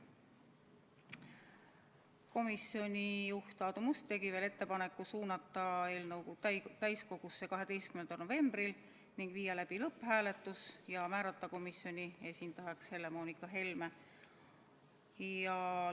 Komisjoni juht Aadu Must tegi ka ettepaneku suunata eelnõu täiskogusse 12. novembril, viia läbi lõpphääletus ja määrata komisjoni esindajaks Helle-Moonika Helme.